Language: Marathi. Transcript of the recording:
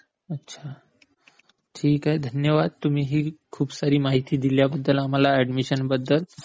अच्छा, ठीक आहे. धन्यवाद. तुम्ही जी खूप सारी माहिती दिलीय मला ऍडमिशन बद्दल.